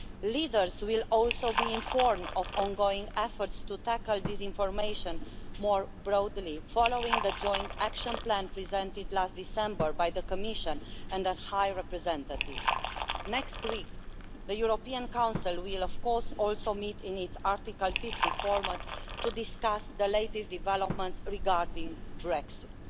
Leaders will also be informed of ongoing efforts to tackle disinformation more broadly, following the joint action plan presented last December by the Commission and the High Representative. Next week, the European Council will also meet in its Article 50 format to discuss the latest developments regarding Brexit.